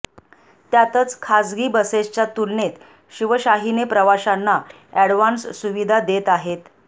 त्यातच खासगी बसेसच्या तुलनेत शिवशाहीने प्रवाशांना अॅडव्हान्स सुविधा देत आहे